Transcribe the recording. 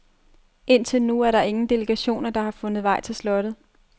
Indtil nu er der ingen delegationer, der har fundet vej til slottet.